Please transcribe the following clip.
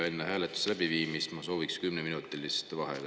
Enne hääletuse läbiviimist ma sooviks kümneminutilist vaheaega.